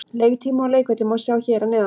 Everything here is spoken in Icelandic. Leiktíma og leikvelli má sjá hér að neðan.